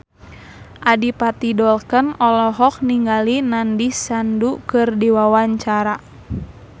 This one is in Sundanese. Adipati Dolken olohok ningali Nandish Sandhu keur diwawancara